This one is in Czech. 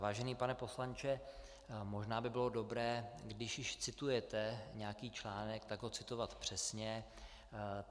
Vážený pane poslanče, možná by bylo dobré, když již citujete nějaký článek, tak ho citovat přesně.